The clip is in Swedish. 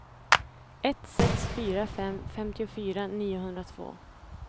ett sex fyra fem femtiofyra niohundratvå